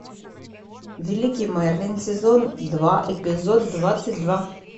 великий мерлин сезон два эпизод двадцать два